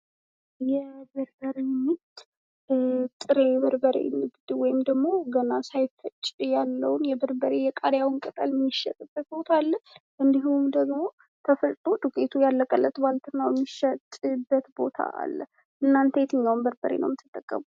የበርበሬ ምርት የጥሬ በርበሬ ንግድ ወይም ደግሞ ገና ሳይፈጭ ያለውን የበርበሬ የቃርያውን ቅጠል የሚሸጥበት ቦታ አለ። እንዲሁም ደግሞ ተፈጭቶ ዱቄቱ ያለቀለት ባልትናው የሚሸጥበት ቦታ አለ። እናተ የትኛውን በርበሬ ነው የምትጠቀሙ?